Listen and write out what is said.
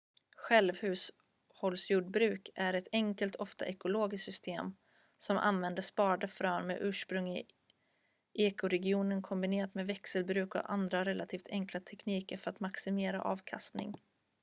självhushållsjordbruk är ett enkelt ofta ekologiskt system som använder sparade frön med ursprung i ekoregionen kombinerat med växelbruk eller andra relativt enkla tekniker för att maximera avkastning